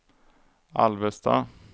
Alvesta